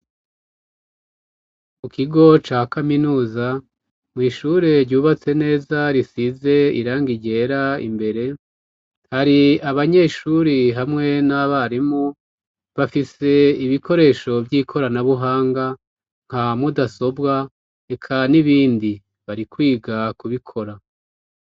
Mu kigo ca kaminuza mw'ishure ryubatse neza risize irangi ryera; imbere hari abanyeshuri hamwe n'abarimu bafise ibikoresho vy'ikoranabuhanga nka mudasobwa eka n'ibindi, bari kwiga kubikora.